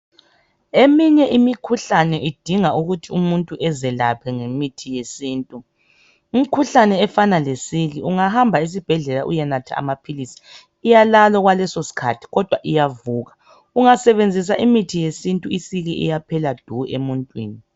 Eminye imikhuhlane idinga ukuthi umuntu ezelaphe ngemithi yesintu. Imikhuhlane efana leSiki, ungahamba esibhedlela uyenatha amaphilisi iyalala okwalesosikhathi kodwa iyavuka. Ungasebenzisa imithi yesintu iSiki iyaphela du emuntwini.